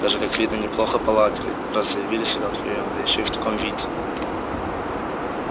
даже как видно неплохо поладили раз заявились сюда вдвоём да ещё в таком виде